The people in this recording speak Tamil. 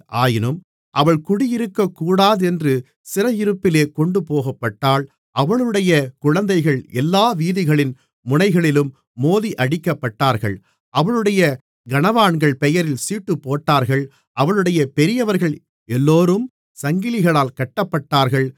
ஆயினும் அவள் குடியிருக்கக் கூடாதென்று சிறையிருப்பிலே கொண்டுபோகப்பட்டாள் அவளுடைய குழந்தைகள் எல்லா வீதிகளின் முனைகளிலும் மோதியடிக்கப்பட்டார்கள் அவளுடைய கனவான்கள் பெயரில் சீட்டுப்போட்டார்கள் அவளுடைய பெரியவர்கள் எல்லோரும் சங்கிலிகளால் கட்டப்பட்டார்கள்